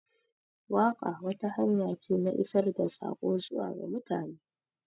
Waƙa wata hanya ce na isar da sako zuwa ga mutane.